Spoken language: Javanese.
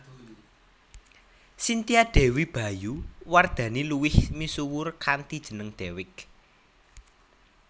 Cynthia Dewi Bayu Wardhani luwih misuwur kanthi jeneng Dewiq